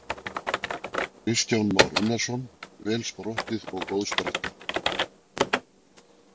Kristján Már Unnarsson: Vel sprottið og góð spretta?